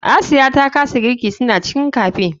Asiya ta kasa girki suna cikin cafe.